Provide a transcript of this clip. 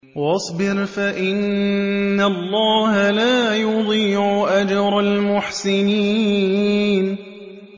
وَاصْبِرْ فَإِنَّ اللَّهَ لَا يُضِيعُ أَجْرَ الْمُحْسِنِينَ